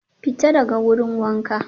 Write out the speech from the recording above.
Fita daga wurin wanka